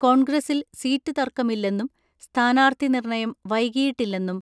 കോൺഗ്രസിൽ സീറ്റ് തർക്കമില്ലെന്നും സ്ഥാനാർത്ഥി നിർണയം വൈകിയിട്ടില്ലെന്നും